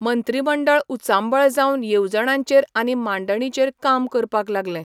मंत्रीमंडळ उचांबळ जावन येवजणांचेर आनी मांडणींचेर काम करपाक लागले.